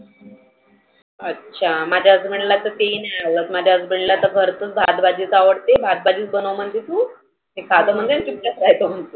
अच्छा, माझ्या husband ते ही नाही आवडत. माझ्या husband ला तर खरतर भात भाजी आवडते भात भाजीच बनव म्हणते तु. ते खातं म्हणजे चुपचाप खायच म्हणतो